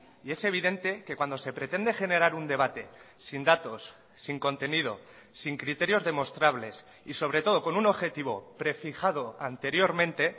y es evidente que cuando se pretende generar un debate sin datos sin contenido sin criterios demostrables y sobre todo con un objetivo prefijado anteriormente